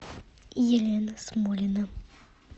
елена смолина